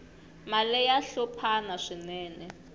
mali ya hluphana swinene